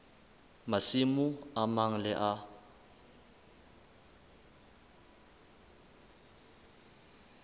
masimo a mang le a